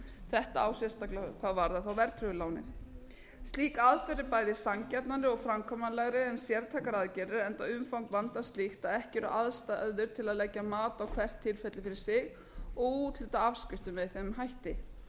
þetta á sérstaklega við hvað varðar verðtryggðu lánin slík aðferð er bæði sanngjarnari og framkvæmanlegri en sértækar aðgerðir enda umfang vandans slíkt að ekki eru aðstæður til að leggja mat á hvert tilfelli fyrir sig og úthluta afskriftum með þeim hætti